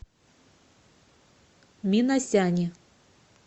минасяне